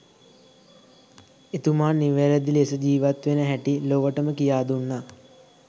එතුමා නිවැරදි ලෙස ජීවත් වෙන හැටි ලොවටම කියා දුන්නා